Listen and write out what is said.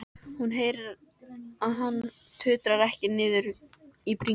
Hún heyrir að hann tuldrar takk niður í bringuna.